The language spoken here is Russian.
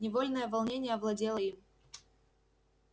невольное волнение овладело им